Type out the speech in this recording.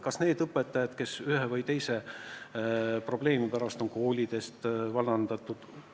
Kas abiks tulevad need õpetajad, kes ühe või teise probleemi pärast on koolist vallandatud?